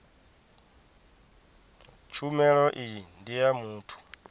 tshumelo iyi ndi ya muthu